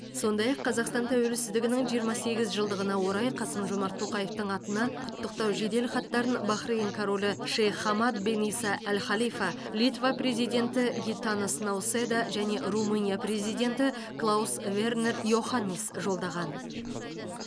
сондай ақ қазақстан тәуелсіздігінің жиырма сегіз жылдығына орай қасым жомарт тоқаевтың атына құттықтау жеделхаттарын бахрейін королі шейх хамад бен иса әл халифа литва президенті гитанас науседа және румыния президенті клаус вернер йоханнис жолдаған